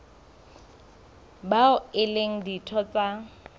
bao e leng ditho tsa